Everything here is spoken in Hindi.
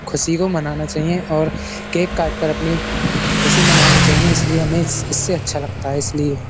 खुशी को मनाना चाहिए और केक काटकर अपनी ख़ुशी मनानी चाहिए इसीलिए हमें इससे अच्छा लगता है इसीलिए।